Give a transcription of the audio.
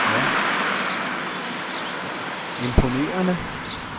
imponerende